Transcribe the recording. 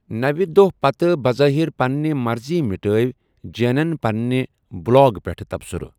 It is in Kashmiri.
نَوِ دوہ پتہٕ بظاہر پننہ مرضیہ مِٹٲوۍ جیٚنن پنٛنہِ بُلاگ پیٹھٕ تبصُرٕ۔